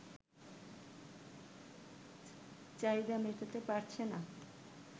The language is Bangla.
চাহিদা মেটাতে পারছে না